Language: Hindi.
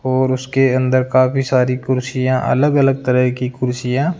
और उसके अंदर काफी सारी कुर्सियां अलग अलग तरह की कुर्सियां--